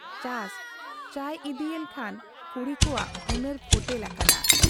ᱪᱟᱥ ᱪᱚᱭ ᱤᱫᱤᱭᱮᱱ ᱠᱷᱟᱱ ᱠᱩᱲᱤ ᱠᱚᱣᱟᱜ ᱦᱩᱱᱟᱹᱨ ᱯᱷᱚᱴᱮᱞ ᱟᱠᱟᱱᱟ ᱾